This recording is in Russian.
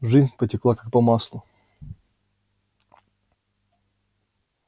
жизнь потекла как по маслу